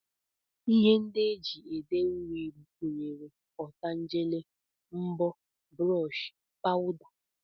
Ihe ndị e ji ede uri gụnyere ọtangele, mbọ, brọọshị, pawụda